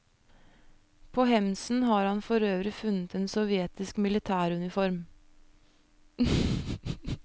På hemsen har han forøvrig funnet en sovjetisk militær uniform.